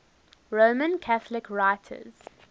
roman catholic writers